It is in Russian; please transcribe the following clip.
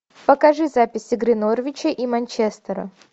покажи запись игры норвича и манчестера